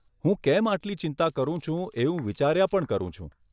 હું કેમ આટલી ચિંતા કારું છું એવું વિચાર્યા પણ કરું છું.